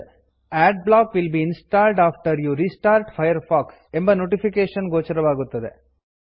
adblock will be installed after you restart Firefox ಎಂಬ notification ಗೋಚರವಾಗುತ್ತದೆ